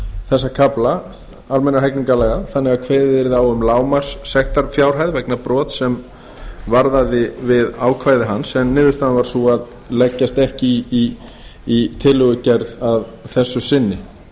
þessa kafla almennra hegningarlaga þannig að kveðið yrði á um lágmarkssektarfjárhæð vegna brots sem varðaði við ákvæði hans en niðurstaðan varð sú að leggjast ekki í tillögugerð að þessu sinni